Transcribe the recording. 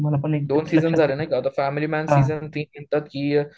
दोन सीजन झालेत नाही का, आत्ता द फॅमिली मॅन सीजन तीन म्हणतात की